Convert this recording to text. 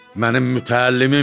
Mənim mütəllimimdir.